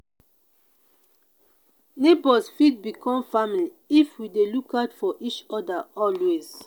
neighbors fit become family if we dey look out for each other always.